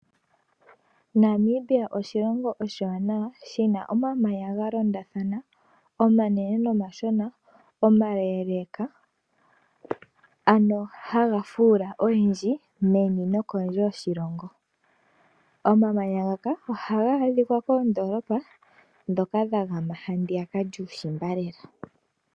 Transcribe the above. Namibia oshilongo oshiwanawa shina omamanya ga londathana omanene nomashona. Omaleeleka ano haga fuula oyendji meni nokondje yoshilongo. Omamanya ngaka ohaga adhika moondoolopa dhomuushimba.